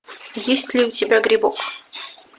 есть ли у тебя грибок